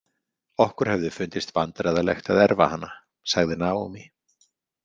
Okkur hefði fundist vandræðalegt að erfa hana, sagði Naomi.